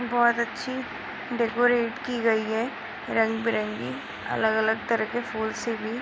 बहोत अच्छी डेकोरेट की गई है रंगबेरंगी अलग-अलग तरह के फूल से भी। --